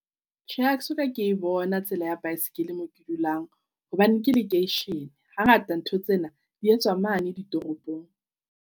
Tjhe, ha ke soka ke e bona tsela ya bicycle moo ke dulang hobane ke lekeishene. Hangata ntho tsena di etswa mane ditoropong.